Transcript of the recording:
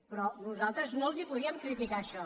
però nosaltres no els podíem criticar això